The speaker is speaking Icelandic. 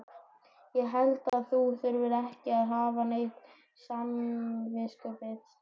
Ég held að þú þurfir ekki að hafa neitt samviskubit.